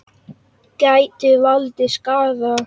Gætu valdið skaða.